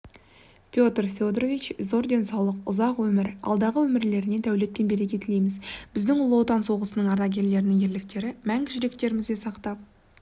петр федорович зор денсаулық ұзақ өмір алдағы өмірлеріне дәулет пен береке тілейміз біздің ұлы отан соғысының ардагерлерінің ерліктері мәңгі жүректерімізде сақтап